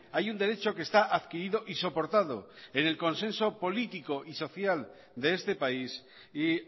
hay un derecho que está adquirido y soportado en el consenso político y social de este país y